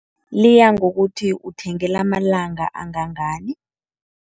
Liya ngokuthi uthenge lamalanga angangani.